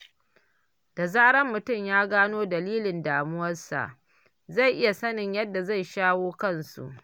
Da zarar mutum ya gano dalilan damuwarsa, zai iya sanin yadda zai shawo kansu.